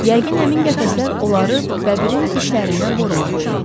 Yəqin həmin qəfəslər onları bəbirin dişlərindən qorumaq üçün idi.